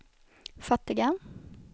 fattiga